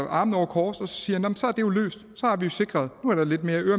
armene over kors og siger nu er der lidt mere